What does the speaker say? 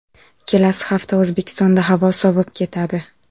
Kelasi hafta O‘zbekistonda havo sovib ketadi .